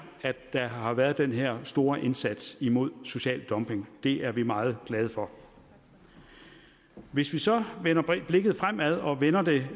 der har været den her store indsats imod social dumping det er vi meget glade for hvis vi så retter blikket fremad og vender det